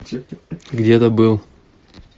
где то был